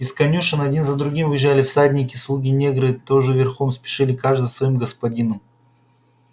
из конюшен один за другим выезжали всадники слуги-негры тоже верхом спешили каждый за своим господином